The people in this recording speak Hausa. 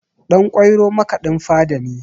Ɗan ƙwairo makaɗin fada ne